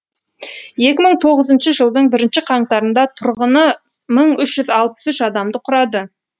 екі мың тоғызыншы жылдың бірінші қаңтарында тұрғыны мың үш жүз алпыс үш адамды құрады